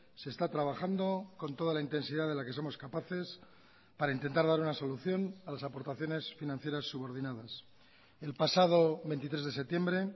se está trabajando con toda la intensidad de la que somos capaces para intentar dar una solución a las aportaciones financieras subordinadas el pasado veintitrés de septiembre